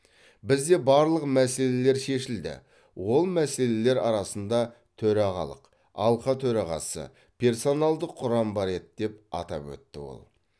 бізде барлық мәселелер шешілді ол мәселелер арасында төрағалық алқа төрағасы персоналдық құрам бар еді деп атап өтті ол